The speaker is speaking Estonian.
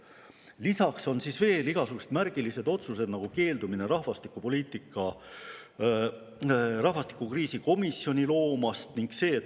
Lisaks on igasuguseid märgilisi otsuseid, näiteks keeldunud loomast rahvastikukriisi komisjoni.